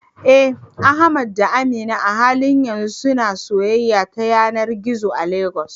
Eh, Ahmad da Amina a halin yanzu suna soyayya ta yanar gizo a Legas.